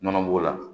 Nɔnɔ b'o la